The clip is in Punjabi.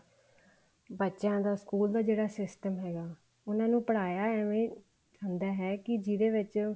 ਬੱਚਿਆਂ ਦਾ ਸਕੂਲ ਦਾ ਜਿਹੜਾ system ਹੈਗਾ ਉਹਨਾ ਨੂੰ ਪੜਾਇਆ ਏਵੇਂ ਹੁੰਦਾ ਹੈ ਕੇ ਜਿਹਦੇ ਵਿੱਚ